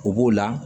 U b'o la